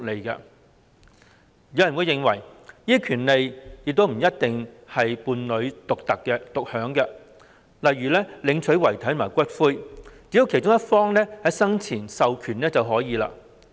有人認為這些權利不一定由伴侶獨享，例如領取遺體和骨灰，只要其中一方生前作出授權便可以。